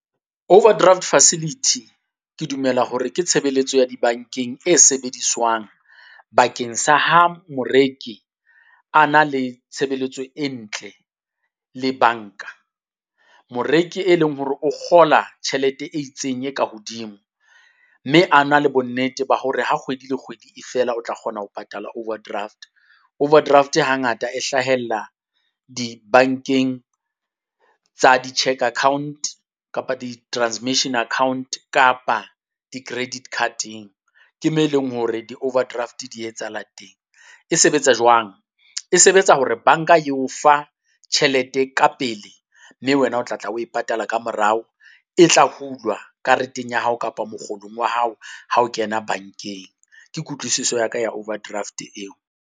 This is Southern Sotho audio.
Overdraft facility ke dumela hore ke tshebeletso ya dibankeng e sebediswang bakeng sa ha moreki a na le tshebeletso e ntle le banka. Moreki e leng hore o kgola tjhelete e itseng e ka hodimo, mme a na le bonnete ba hore ha kgwedi le kgwedi e fela o tla kgona ho patala overdraft. Overdraft Hangata e hlahella dibankeng tsa di-cheque account kapa di-transmission account kapa di-credit card-eng. Ke me eleng hore di-overdraft di etsahalang teng. E sebetsa jwang? E sebetsa hore banka e o fa tjhelete ka pele, mme wena o tla tla o patala kamorao, e tla hulwa kareteng ya hao kapa mokgolong wa hao ha o kena bankeng. Ke kutlwisiso ya ka ya overdraft eo.